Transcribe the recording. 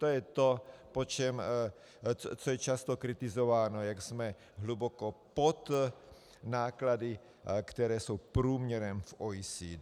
To je to, co je často kritizováno, jak jsme hluboko pod náklady, které jsou průměrem v OECD.